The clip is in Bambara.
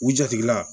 U jatigila